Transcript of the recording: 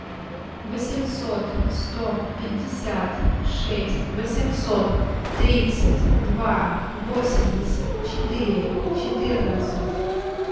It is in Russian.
восемьсот сто пятьдесят шесть восемьсот тридцать два восемьдесят четыре четырнадцать